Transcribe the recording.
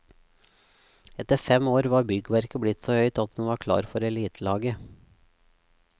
Etter fem år var byggverket blitt så høyt at hun var klar for elitelaget.